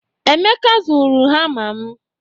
Emeka zuru hama m